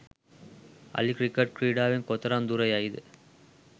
අලි ක්‍රිකට් ක්‍රීඩාවෙන් කොතරම් දුර යයිද?